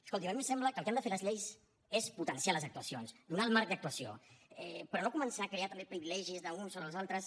escolti’m a mi em sembla que el que han de fer les lleis és potenciar les actuacions donar el marc d’actuació però no començar a crear també privilegis d’uns sobre els altres